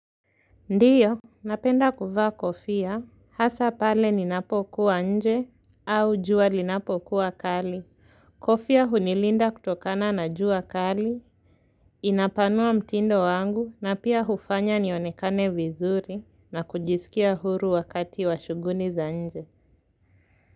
Ndio, napenda kuvaa kofia, hasa pale ninapokuwa nje au jua linapokuwa kali, kofia hunilinda kutokana na juwa kali, inapanua mtindo wangu na pia hufanya nionekane vizuri na kujisikia huru wakati wa shughuli za nje.